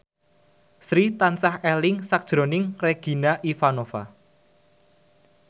Sri tansah eling sakjroning Regina Ivanova